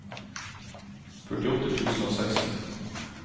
førtiåtte tusen og seksten